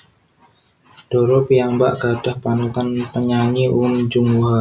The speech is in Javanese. Dara piyambak gadhah panutan penyanyi Uhm Jung Hwa